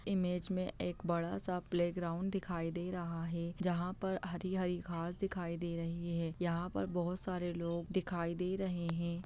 Image में एक बड़ा-सा प्लेग्राउंड दिखाई दे रहा है जहाँ पर हरी-हरी घास दिखाई दे रही है यहां पर बहुत सारे लोग दिखाई दे रहे है।